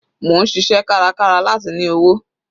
Mò ń ṣiṣẹ́ kárakára láti ní owó.